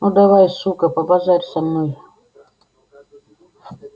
ну давай сука побазарь со мной